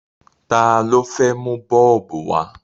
Ta ló fẹ́ mu bọ́ọ̀bù wá?